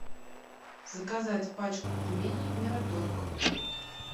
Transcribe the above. заказать пачку пельменей мираторг